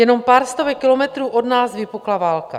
Jenom pár stovek kilometrů od nás vypukla válka.